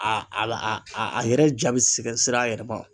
yɛrɛ ja bi siga sira a yɛrɛ ma.